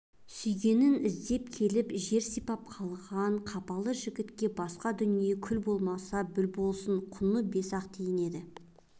сүйгенін іздеп келіп жер сипап қалған қапалы жігітке басқа дүние күл болмаса бүл болсын құны бес-ақ тиын еді